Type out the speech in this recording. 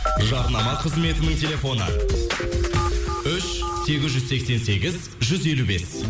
жарнама қызметінің телефоны үш сегіз жүз сексен сегіз жүз елу бес